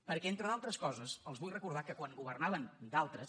perquè entre d’al tres coses els vull recordar que quan governaven d’altres